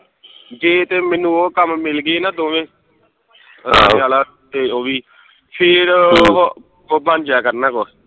ਜੇ ਤੇ ਮੈਨੂੰ ਉਹ ਕੰਮ ਮਿਲਗੇ ਨਾ ਦੋਵੇ ਤੇ ਵਾਲਾ ਉਹ ਵੀ ਫੇਰ ਉਹ ਉਹ ਬਣ ਜਾਇਆ ਕਰਨੇ ਕੁਖ